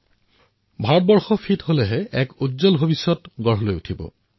যেতিয়া ভাৰত ফিট হব তেতিয়াই ভাৰতৰ উজ্বল ভৱিষ্যতৰ নিৰ্মাণ হব